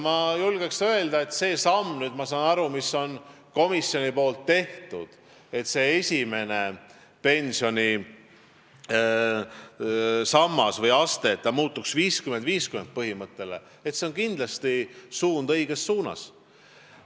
Ma julgen öelda, et see komisjoni tehtud samm, et esimese pensionisamba või -astme puhul tuleks lähtuda 50 : 50 põhimõttest, on kindlasti samm õiges suunas.